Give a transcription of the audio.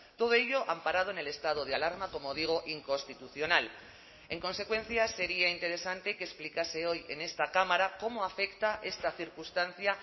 todo ello amparado en el estado de alarma como digo inconstitucional en consecuencia sería interesante que explicase hoy en esta cámara cómo afecta esta circunstancia